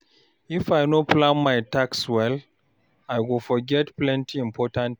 If I no plan my tasks well, I go forget plenty important things.